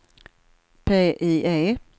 PIE